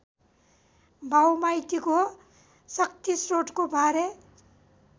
बाउमाइतीको शक्तिश्रोतको बारे